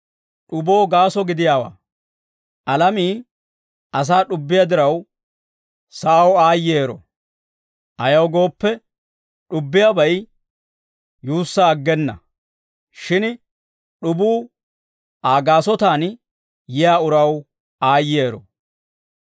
«Alamii asaa d'ubbiyaa diraw, sa'aw aayyero; ayaw gooppe, d'ubbiyaabay yuussaa aggena; shin d'ubuu Aa gaasotaan yiyaa uraw aayyero.